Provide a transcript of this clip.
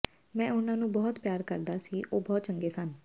ਮੈਂ ਉਨ੍ਹਾਂ ਨੂੰ ਬਹੁਤ ਪਿਆਰ ਕਰਦਾ ਸੀ ਉਹ ਬਹੁਤ ਚੰਗੇ ਸਨ